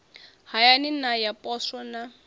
hayani na ya poswo na